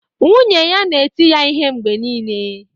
Nwunye ya na-eti ya ihe mgbe niile